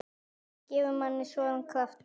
Það gefur manni svona. kraft.